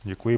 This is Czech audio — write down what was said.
Děkuji.